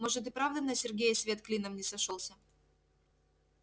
может и правда на сергее свет клином не сошёлся